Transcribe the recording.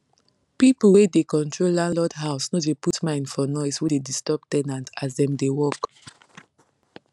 pipu wey da control landlord house no put mind for noise we da disturb ten ant as dem da work